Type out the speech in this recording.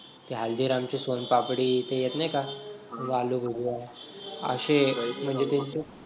हल्दीराम की सोनपापडी ते येत नाही का आलू भुजिया म्हणजे ते असे